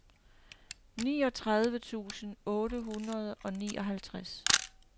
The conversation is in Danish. niogtredive tusind otte hundrede og nioghalvtreds